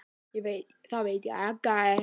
Það veit ég.